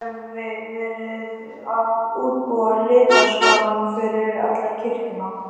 Ég hefi verið að útbúa litaskalann fyrir alla kirkjuna.